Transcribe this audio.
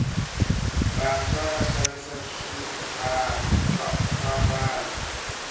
vantswa va xavisa swambalo